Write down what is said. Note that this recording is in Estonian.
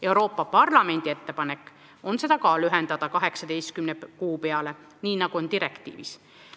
Euroopa Parlamendi ettepanek on seda lühendada 18 kuu peale, nii nagu on direktiivis.